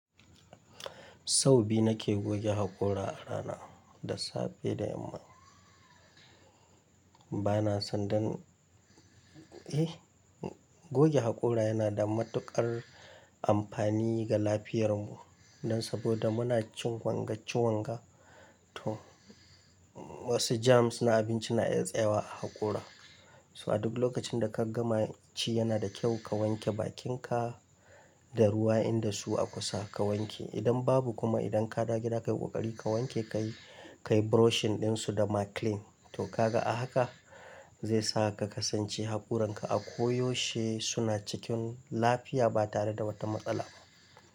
Sau biyu nake goge haƙora a rana da safe da yamma. Bana son dan, eh goge haƙora yana da matuƙar amfani ga lafiyar mu. Dan saboda muna cin wanga ci wanga, to wassu germs na abinci na iya tsayawa a haƙora. So a duk lokacin da ka gama ci yana da kyau ka wanke bakin ka da ruwa in dasu a kusa ka wanke. Idan babu kuma idan ka dawo gida ka yi ƙoƙari ka wanke, ka yi, ka yi brushing ɗin su da maclean. To kaga a haka? Zai sa ka kasance haƙoran ka a koyaushe suna cikin lafiya ba tare da wata matsala ba.